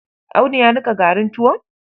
Audu ya niƙa garin tuwon?